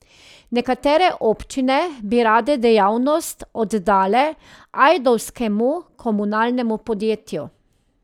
Nekatere občine bi rade dejavnost oddale ajdovskemu komunalnemu podjetju.